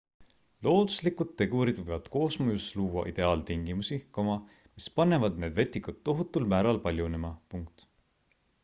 looduslikud tegurid võivad koosmõjus luua ideaaltingimusi mis panevad need vetikad tohutul määral paljunema